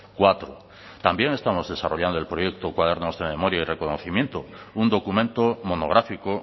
cuatro también estamos desarrollando el proyecto cuadernos de memoria y reconocimiento un documento monográfico